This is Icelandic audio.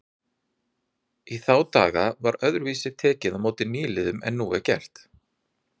Í þá daga var öðruvísi tekið á móti nýliðum en nú er gert.